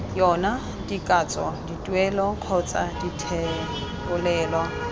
yona dikatso dituelo kgotsa dithebolelo